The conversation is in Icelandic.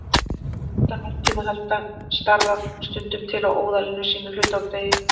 Utan varptíma halda starar stundum til á óðali sínu hluta úr degi.